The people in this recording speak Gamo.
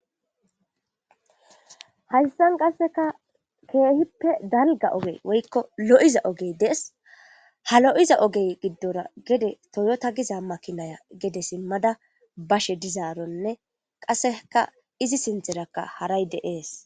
Haystan qasseka keehippe dalga ogey woykko lo7iza ogey dees ha lo7iza ogey giddora gede toyota giza makinaya gede simmada bashe dizaaronne qasseka izi sintherakka haray deees.